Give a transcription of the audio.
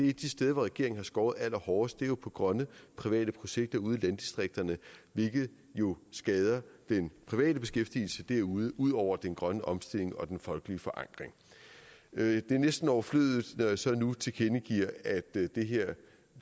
af de steder hvor regeringen har skåret allerhårdest ned er på grønne private projekter ude i landdistrikterne hvilket jo skader den private beskæftigelse derude ud over den grønne omstilling og den folkelige forankring det er næsten overflødigt når jeg så nu tilkendegiver at det her